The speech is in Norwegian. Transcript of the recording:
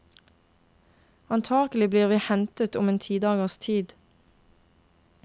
Antakelig blir vi hentet om en ti dagers tid.